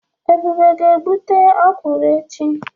Ebube ga-egbute okwụrụ echi.